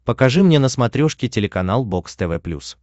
покажи мне на смотрешке телеканал бокс тв плюс